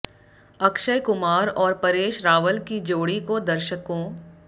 अक्षय कुमार और परेश रावल की जोड़ी को दर्शकों